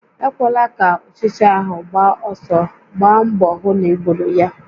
Ekwela ka ụchịcha ahụ gbaa ọsọ, gbaa mbọ hụ na I gbùrù ya!